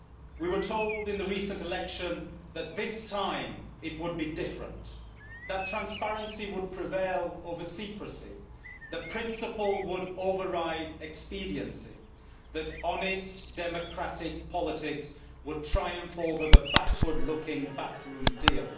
We were told in the recent election that this time it would be different, that transparency would prevail over secrecy, that principle would override expediency, that honest, democratic politics would triumph over the backward looking backroom deal.